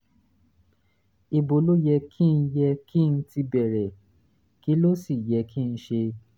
ibo ló yẹ kí n yẹ kí n ti bẹ̀rẹ̀ kí ló sì yẹ kí n ṣe?